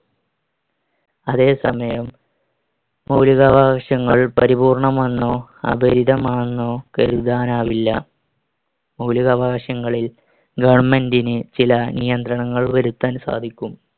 അതെ സമയം മൗലികാവകാശങ്ങൾ പരിപൂർണമെന്നോ അപരിതമാണെന്നോ കരുതാൻ ആവില്ല. മൗലികാവകാശങ്ങളിൽ government ന് ചില നിയന്ത്രണങ്ങൾ വരുത്താൻ സാധിക്കും.